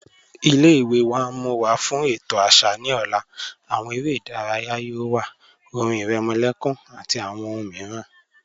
Ilẹ̀-iwe wa n mú wa fún ètò àṣà ni ọ̀lá, awọn èrè idáràyà yóò wà, ọ̀rìn ìrèmòlẹ̀kùn àti awọn ọ̀hùn míìràn.